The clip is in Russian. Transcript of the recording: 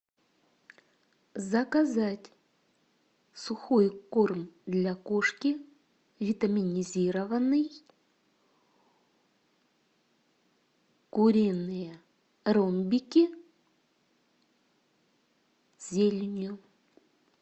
заказать сухой корм для кошки витаминизированный куриные ромбики с зеленью